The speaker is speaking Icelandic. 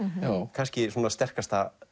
kannski sterkasta